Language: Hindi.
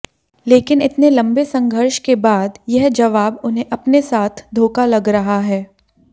लेकिन इतने लंबे संघर्ष के बाद यह जवाब उन्हें अपने साथ धोखा लग रहा है